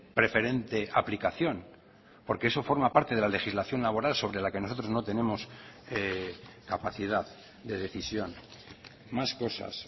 preferente aplicación porque eso forma parte de la legislación laboral sobre la que nosotros no tenemos capacidad de decisión más cosas